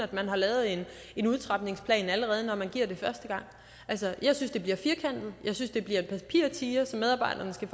at man har lavet en en udtrapningsplan allerede når man giver det første gang altså jeg synes det bliver firkantet jeg synes det bliver en papirtiger som medarbejderne skal